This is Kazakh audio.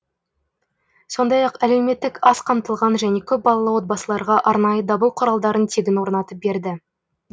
сондай ақ әлеуметтік аз қамтылған және көпбалалы отбасыларға арнайы дабыл құралдарын тегін орнатып берді